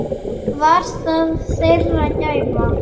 Var það þeirra gæfa.